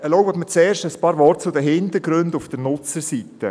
Erlauben Sie mir zuerst ein paar Worte zu den Hintergründen auf der Nutzerseite: